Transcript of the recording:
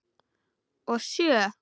Og sjö?